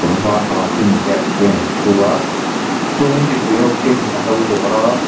var ha khi ania tikhian alo thu a chuanin mipui ho khianin an lo dawr a.